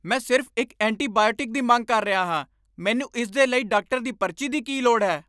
ਮੈਂ ਸਿਰਫ਼ ਇੱਕ ਐਂਟੀਬਾਇਓਟਿਕ ਦੀ ਮੰਗ ਕਰ ਰਿਹਾ ਹਾਂ! ਮੈਨੂੰ ਇਸ ਦੇ ਲਈ ਡਾਕਟਰ ਦੀ ਪਰਚੀ ਦੀ ਕੀ ਲੋੜ ਹੈ?